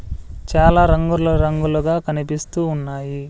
చాలా రంగుల్లో రంగులుగా కనిపిస్తూ ఉన్నాయి.